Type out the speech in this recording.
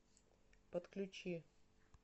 подключи